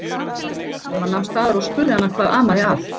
Selma nam staðar og spurði hana hvað amaði að.